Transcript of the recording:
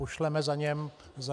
Pošleme za ním co?